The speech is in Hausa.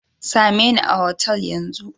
Sa me ni a hotel Yan zun.